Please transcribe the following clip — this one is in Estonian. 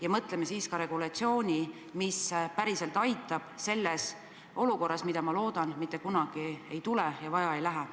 Ja mõtleme siis ka regulatsiooni üle, mis päriselt aitab selles olukorras, mida ma loodan, mitte kunagi ei tule!